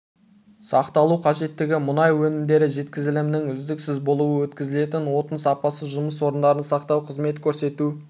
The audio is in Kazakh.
сақталу қажеттігі мұнай өнімдері жеткізілімінің үздіксіз болуы өткізілетін отын сапасы жұмыс орындарын сақтау қызмет көрсету